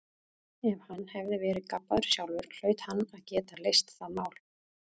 Ef hann hafði verið gabbaður sjálfur hlaut hann að geta leyst það mál.